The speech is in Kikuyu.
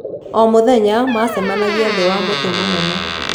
O mũthenya maacemanagia thĩ wa mũtĩ mũnene.